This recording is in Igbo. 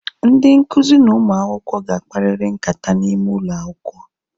Ndị nkụzi na ụmụ akwụkwọ ga akpariri nkata n'ime ụlọ akwụkwọ